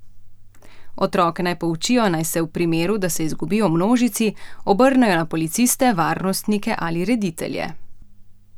Otroke naj poučijo, naj se v primeru, da se izgubijo v množici, obrnejo na policiste, varnostnike ali reditelje.